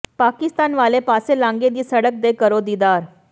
ਪਾਕਿਸਤਾਨ ਵਾਲੇ ਪਾਸੇ ਲਾਂਘੇ ਦੀ ਸੜਕ ਦੇ ਕਰੋ ਦੀਦਾਰ